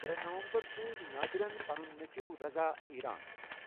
ترے نومبر سوُز نٲدِرن پنٗں نیچۄٗو رضا ایران ۔